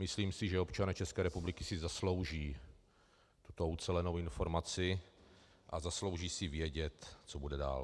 Myslím si, že občané České republiky si zaslouží tuto ucelenou informaci a zaslouží si vědět, co bude dál.